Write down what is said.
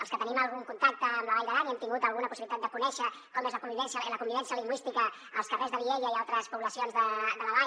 els que tenim algun contacte amb la vall d’aran i hem tingut alguna possibilitat de conèixer com és la convivència la convivència lingüística als carrers de vielha i altres poblacions de la vall